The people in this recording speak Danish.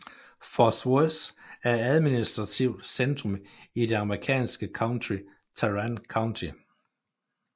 Fort Worth er administrativt centrum i det amerikanske county Tarrant County